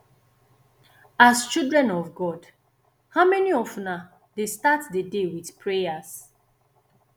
as children of god how many of una dey start the day with prayers